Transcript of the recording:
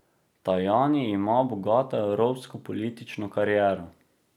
Tajani ima bogato evropsko politično kariero.